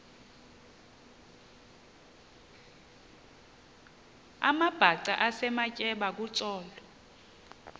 amabhaca esematyeba kutsolo